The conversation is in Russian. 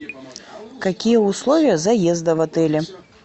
какие условия заезда в отеле